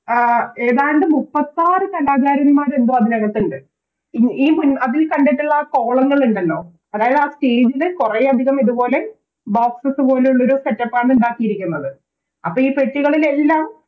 ആഹ് ഏതാണ്ട് മുപ്പത്താറ് കലാകാരന്മാരെന്തോ അതിനകത്തിണ്ട് ഈ അതിൽ കണ്ടിട്ടുള്ള ആ Column ഉണ്ടല്ലോ അതായതാ Stage ല് കൊറേയധികം ഇതുപോലെ Boxes പോലെയുള്ളൊരു Setup ആണ് ഇണ്ടാക്കിയിരിക്കുന്നത് അപ്പൊ ഈ പെട്ടികളിലെല്ലാം